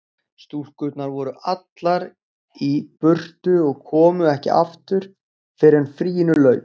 Stúlkurnar voru allar í burtu og komu ekki aftur fyrr en fríinu lauk.